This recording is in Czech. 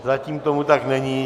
Zatím tomu tak není.